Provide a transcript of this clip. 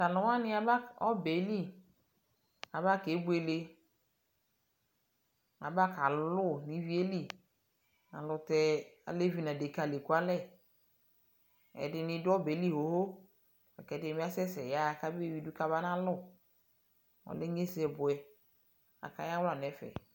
Taluwanii abakɔɔ nɔbɛɛli kabakebwele abakaluu nivieli alutɛɛ alevi nadeka lekualɛ ɛdini du ɔbɛɛli xoxo kɛdinibi asɛsɛ yaɣa kamaa ewidu kamabana lu Ɔlɛɛ inyesɛbuɛ kakayawla nɛfɛ